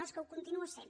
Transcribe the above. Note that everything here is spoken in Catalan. no és que ho continua sent